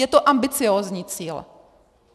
Je to ambiciózní cíl.